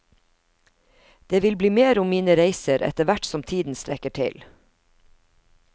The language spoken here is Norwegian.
Det vil bli mer om mine reiser etter hvert som tiden strekker til.